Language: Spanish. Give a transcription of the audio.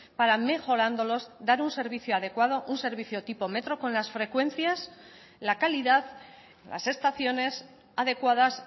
para mejorándolos dar un servicio adecuado un servicio tipo metro con las frecuencias la calidad las estaciones adecuadas